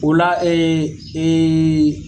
Ola la